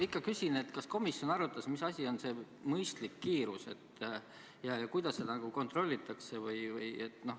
Ikka küsin, kas komisjon arutas, mis asi on see mõistlik kiirus ja kuidas seda kontrollitakse.